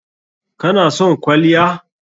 Kana son kwalliya?